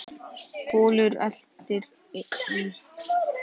Kolur eltir.